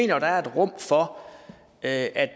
jo at der er rum for at